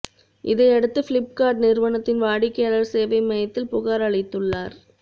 இதையடுத்து ஃபிளிப்கார்ட் நிறுவனத்தின் வாடிக்கையாளர் சேவை மையத்தில் புகார் அளித்துள்ளார்